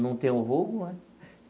Não tem um vulgo né.